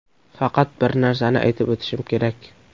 Faqat bir narsani aytib o‘tishim kerak.